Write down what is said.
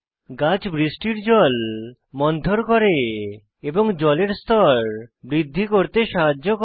গাছ বৃষ্টির জল মন্থর করে এবং জলের স্তর বৃদ্ধি করতে সাহায্য করে